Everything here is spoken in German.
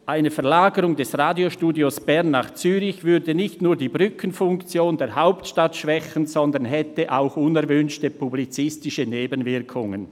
«Eine Verlagerung des Radiostudios Bern nach Zürich würde nicht nur die Brückenfunktion der Hauptstadt schwächen, sondern hätte auch unerwünschte publizistische Nebenwirkungen.